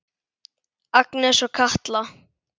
Agnes og Katla.